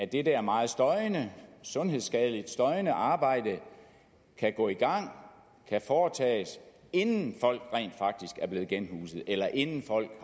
det der meget støjende sundhedsskadeligt støjende arbejde kan gå i gang og kan foretages inden folk rent faktisk er blevet genhuset eller inden folk